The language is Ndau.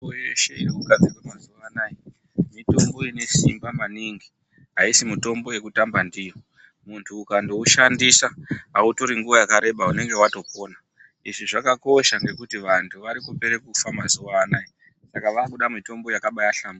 Mutombo yeshe yakugadzirwa mazuwanaya mitombo ine simba maningi aisi mutombo yekutanba ndiyo. Muntu ukandoushandisa autori nguwa yakareba unenge watopona. Izvi zvakakosha ngekuti vantu vakupere kufa mazuwanaya saka vakude mitombo yakahlamburuka.